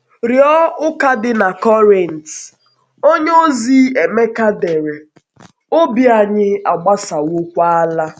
Rịọ ụka dị na Korint, onyeozi Emeka dere: “Obi anyị agbasawokwaala.”